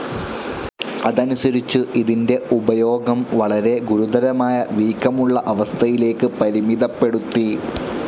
അതനുസരിച്ചു, ഇതിൻ്റെ ഉപയോഗം വളരെ ഗുരുതരമായ വീക്കമുള്ള അവസ്ഥയിലേക്കു പരിമിതപ്പെടുത്തി.